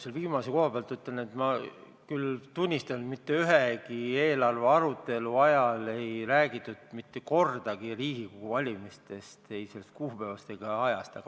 Selle viimase tähelepaneku kohta tunnistan, et mitte ühelgi eelarve arutelul ei räägitud kordagi Riigikogu valimistest – ei sellest kuupäevast ega ajast.